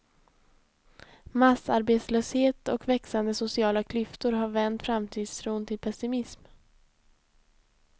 Massarbetslöshet och växande sociala klyftor har vänt framtidstron till pessimism.